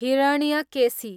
Hiranyakeshi